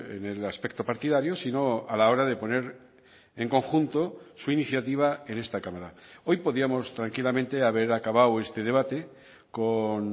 en el aspecto partidario sino a la hora de poner en conjunto su iniciativa en esta cámara hoy podíamos tranquilamente haber acabado este debate con